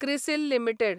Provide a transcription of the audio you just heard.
CRISIL limited